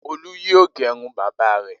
Olú yóò gẹrun bàbá rẹ̀!